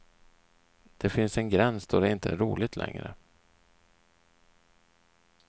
Det finns en gräns då det inte är roligt längre.